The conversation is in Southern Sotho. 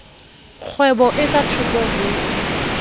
kgwebo e ka thoko ho